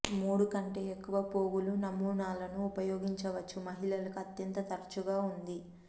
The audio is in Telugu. మూడు కంటే ఎక్కువ పోగులు నమూనాలను ఉపయోగించవచ్చు మహిళలకు అత్యంత తరచుగా ఉంది